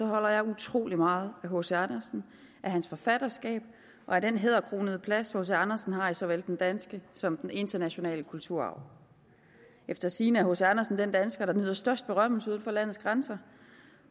holder jeg utrolig meget af hc andersen af hans forfatterskab og af den hæderkronede plads hc andersen har i såvel den danske som den internationale kulturarv efter sigende er hc andersen den dansker der nyder størst berømmelse uden for landets grænser